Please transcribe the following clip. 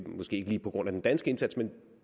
lige på grund af den danske indsats men